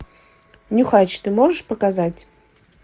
нюхач ты можешь показать